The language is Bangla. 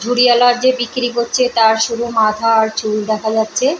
ঝুড়িয়ালা যে বিক্রি করছে তার শুধু মাথা আর চুল দেখা যাচ্ছে-এ।